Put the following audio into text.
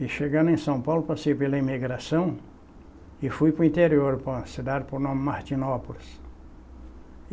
E chegando em São Paulo, passei pela imigração e fui para o interior, para uma cidade por nome Martinópolis.